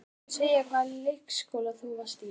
Viltu segja hvaða leikskóla þú varst í?